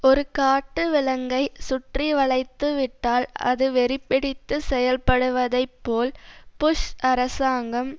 ஒரு காட்டு விலங்கை சுற்றி வளைத்துவிட்டால் அது வெறி பிடித்து செயல்படுவதைப்போல் புஷ் அரசாங்கம்